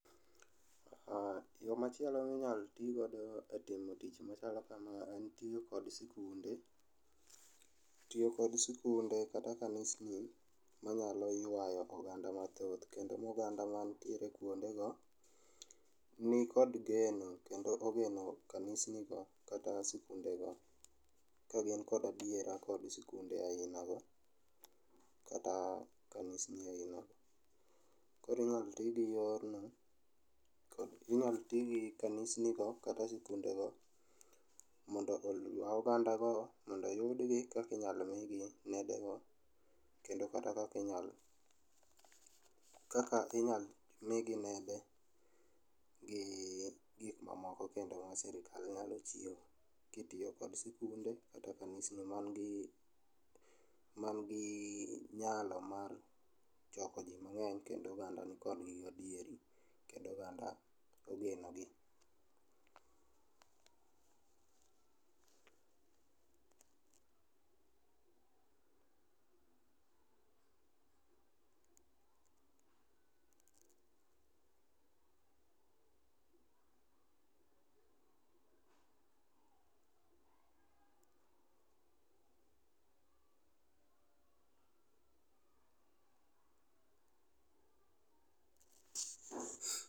Yo machielo ma inyalo ti godo e timo tich machalo kama en tiyo kod sikunde. Tiyo kod sikunde kata kanisni manyalo yuayo oganda mathoth kendo ma oganda man tie e kuondego nikod geno kendo ogeno kanisni go kata sikunde go ka gin kod adiera kod sikunde ainago kata kanisni ainago. Koro inyalo ti gi yorno, inyalo ti gi kanisni go kata sikundego mondo oyua ogandago, mondo oyudgi kaka inyalo migi nedego kendo kaka inyal kaka inyal migi nedegi gik mamoko kendo ma sirkal nyalo chiwo ka itiyo kod sikunde kata kanisni man gi man gi nyalo mar choko ji mang'eny kendo oganda nikodgi gi adieri kendo ogandago ogeno gi.